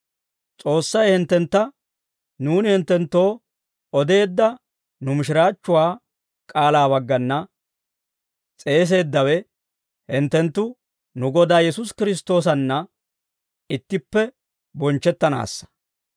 S'oossay hinttentta nuuni hinttenttoo odeedda nu mishiraachchuwaa k'aalaa baggana s'eeseeddawe, hinttenttu nu Godaa Yesuusi Kiristtoosanna ittippe bonchchettanaassa.